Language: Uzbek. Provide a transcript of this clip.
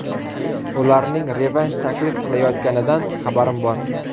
Ularning revansh taklif qilayotganidan xabarim bor.